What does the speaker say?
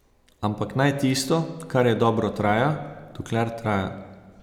Ampak naj tisto, kar je dobro, traja, dokler traja.